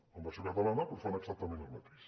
en versió catalana però fan exactament el mateix